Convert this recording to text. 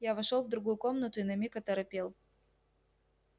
я вошёл в другую комнату и на миг оторопел